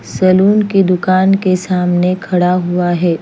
Salon की दूकान के सामने खड़ा हुआ है।